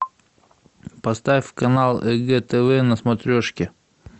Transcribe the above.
поставь канал егэ тв на смотрешке